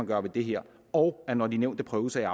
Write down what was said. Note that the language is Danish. gøre ved det her og at når de nævnte prøvesager